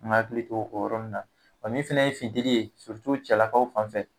An ka hakili to o yɔrɔ ninnu na wa min fɛnɛ ye finteli ye cɛlakaw fan fɛ,